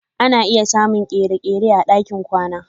Ana iya samun kere-kere a ɗakin kwana.